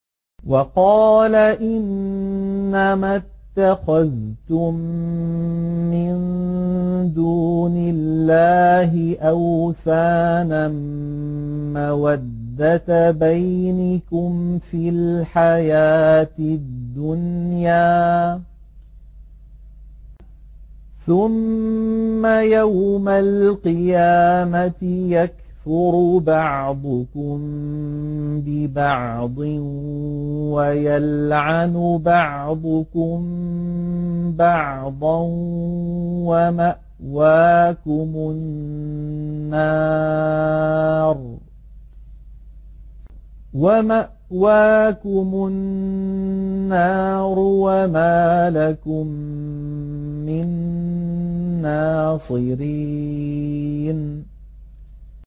وَقَالَ إِنَّمَا اتَّخَذْتُم مِّن دُونِ اللَّهِ أَوْثَانًا مَّوَدَّةَ بَيْنِكُمْ فِي الْحَيَاةِ الدُّنْيَا ۖ ثُمَّ يَوْمَ الْقِيَامَةِ يَكْفُرُ بَعْضُكُم بِبَعْضٍ وَيَلْعَنُ بَعْضُكُم بَعْضًا وَمَأْوَاكُمُ النَّارُ وَمَا لَكُم مِّن نَّاصِرِينَ